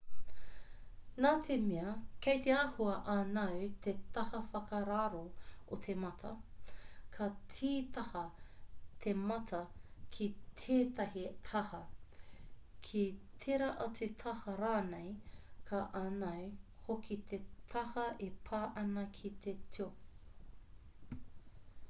nā te mea kei te āhua ānau te taha whakararo o te mata ka tītaha te mata ki tētahi taha ki tērā atu taha rānei ka ānau hoki te taha e pā ana ki te tio